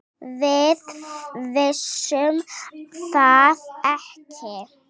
Við vissum það ekki.